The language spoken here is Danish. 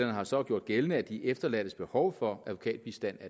har så gjort gældende at de efterladtes behov for advokatbistand